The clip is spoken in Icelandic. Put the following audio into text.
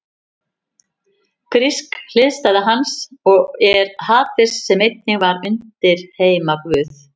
Grísk hliðstæða hans er Hades sem einnig var undirheimaguð.